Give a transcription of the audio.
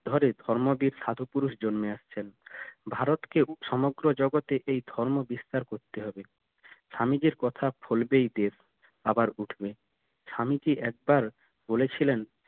ধরে ধর্ম বীর সাধু পুরুষ জন্মে আসছেন ভারত কে সমগ্র জগতে এই ধর্ম বিস্তার করতে হবে স্বামীজির কথা ফলবেই এদের আবার উঠবে স্বামীজির একবার বলেছিলেন